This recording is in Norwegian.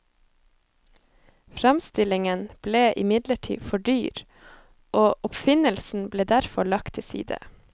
Framstillingen ble imidlertid for dyr, og oppfinnelsen ble derfor lagt til side.